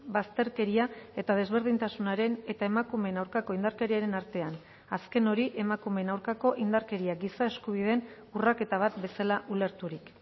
bazterkeria eta desberdintasunaren eta emakumeen aurkako indarkeriaren artean azken hori emakumeen aurkako indarkeria giza eskubideen urraketa bat bezala ulerturik